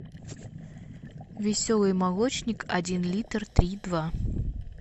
веселый молочник один литр три и два